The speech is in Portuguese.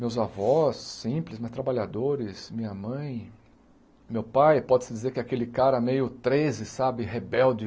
Meus avós, simples, mas trabalhadores, minha mãe, meu pai, pode-se dizer que aquele cara meio treze, sabe, rebelde,